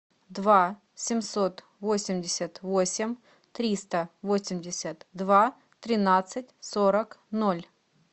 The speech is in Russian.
два семьсот восемьдесят восемь триста восемьдесят два тринадцать сорок ноль